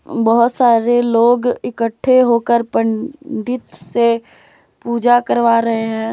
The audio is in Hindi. बहोत सारे लोग इकट्ठे होकर पंडित से पूजा करवा रहे हैं।